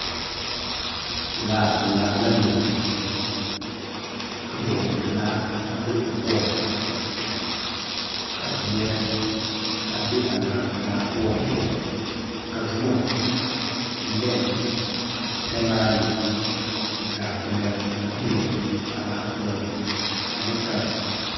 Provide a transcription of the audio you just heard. Laapelaa la biŋ ka bonkupelaa a be o poɔŋ ka zeɛre a be a Laapelaa poɔ la zoma nene sɛmaanee zaa kpɛlɛŋ a be a laa poɔŋ ane kãã.